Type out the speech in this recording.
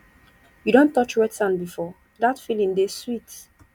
you don touch wet sand before dat feeling dey sweet